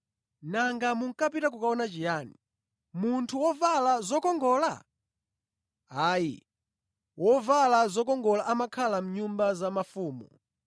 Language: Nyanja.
Nanga munkapita kukaona chiyani, munthu wovala zokongola? Ayi, wovala zokongola amakhala mʼnyumba za mafumu.